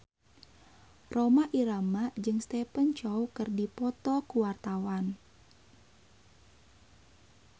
Rhoma Irama jeung Stephen Chow keur dipoto ku wartawan